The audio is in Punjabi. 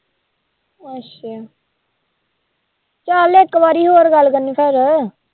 ਅੱਛਾ ਚੱਲ ਇੱਕ ਵਾਰੀ ਹੋਰ ਗੱਲ ਕਰਨੀ ਫਿਰ।